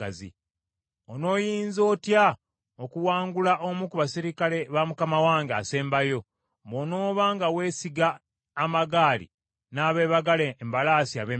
Onooyinza otya okuwangula omu ku baserikale ba mukama wange asembayo, bw’onooba nga weesiga amagaali n’abeebagala embalaasi ab’e Misiri?